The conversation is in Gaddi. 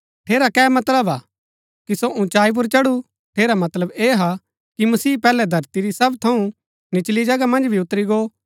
ठेरा कै मतलब हा कि सो उँचाई पुर चढु ठेरा मतलब ऐह हा कि मसीह पैहलै धरती री सब थऊँ निचली जगहा मन्ज भी उतरी गो